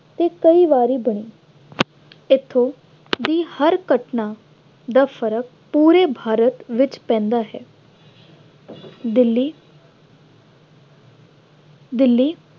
ਅਤੇ ਕਈ ਵਾਰੀ ਬਣੀ। ਇੱਥੋਂ ਦੀ ਹਰ ਘਟਨਾ ਦਾ ਫਰਕ ਪੂਰੇ ਭਾਰਤ ਵਿੱਚ ਪੈਂਦਾ ਹੈ। ਦਿੱਲੀ ਦਿੱਲੀ